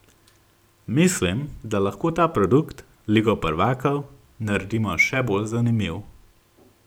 Mislim, da lahko ta produkt, ligo prvakov, naredimo še bolj zanimiv.